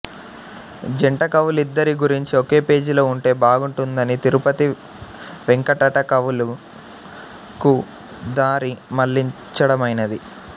జంటకవులిద్దరి గురించీ ఒకే పేజీలో ఉంటే బాగుటుందని తిరుపతి వేంకటట కవులు కు దారి మళ్ళించడమైనది